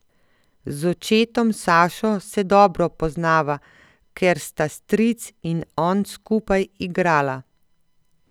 Z očetom Sašo se dobro poznava, ker sta stric in on skupaj igrala.